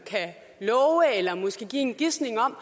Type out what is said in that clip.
kan love eller måske give en gisning om